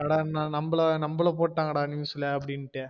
என்னடா நம்மள நம்மள போடங்கனு news ல அப்டிண்டு